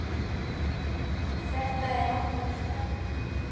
Þetta er okkar stefna.